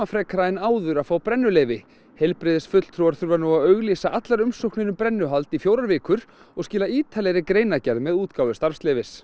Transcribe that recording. en áður að fá brennuleyfi heilbrigðisfulltrúar þurfa nú að auglýsa allar umsóknir um brennuhald í fjórar vikur og skila ítarlegri greinargerð með útgáfu starfsleyfis